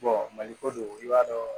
maliko don i b'a dɔn